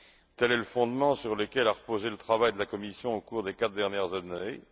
Tel est le fondement sur lequel a reposé le travail de la Commission au cours des quatre dernières années.